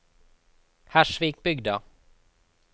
Hersvikbygda